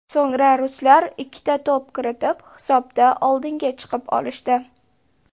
So‘ngra ruslar ikkita to‘p kiritib, hisobda oldinga chiqib olishdi.